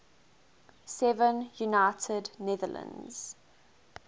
seven united netherlands